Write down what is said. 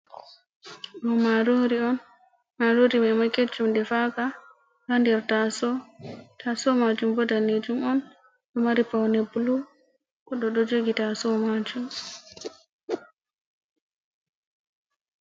Marori on, marori mai ma keccum defaka, ha nder taso. Taaso majum bo daneejum on, ɗo mari paune blu, goɗɗo ɗo jogi taaso maajum.